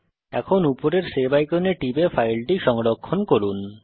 এখন উপরের সেভ আইকনে টিপে ফাইলটি সংরক্ষণ করুন